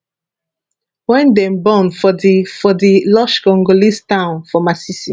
wen dem born for di for di lush congolese town for masisi